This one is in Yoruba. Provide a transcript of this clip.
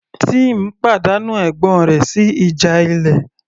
Tim pàdánù ẹ̀gbọ́n rẹ̀ sí ìjà ilé